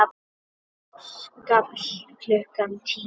Á Skalla klukkan tíu!